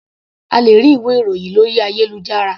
A lè rí ìwé ìròhìn lórí ayélujára.